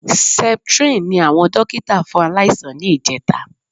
Septrin ni àwọn dókítà fún aláìsàn ní ìjẹta